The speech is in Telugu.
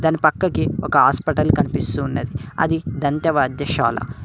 దాని పక్కకి ఒక హాస్పిటల్ కనిపిస్తూ ఉన్నది అది దంత వైద్యశాల.